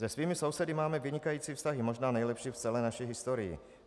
Se svými sousedy máme vynikající vztahy, možná nejlepší v celé naší historii.